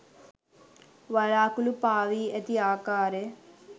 වළාකුලු පාවී ඇති ආකාරය